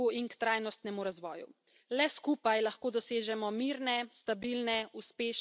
Le skupaj lahko dosežemo mirne, stabilne, uspešne države in družbe.